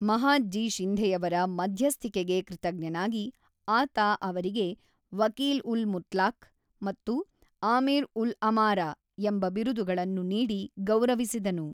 ಮಹಾದ್‌ಜೀ ಶಿಂಧೆಯವರ ಮಧ್ಯಸ್ಥಿಕೆಗೆ ಕೃತಜ್ಞನಾಗಿ, ಆತ ಅವರಿಗೆ ವಕೀಲ್-ಉಲ್-ಮುತ್ಲಾಕ್ ಮತ್ತು ಆಮಿರ್-ಉಲ್-ಅಮಾರಾ ಎಂಬ ಬಿರುದುಗಳನ್ನು ನೀಡಿ ಗೌರವಿಸಿದನು.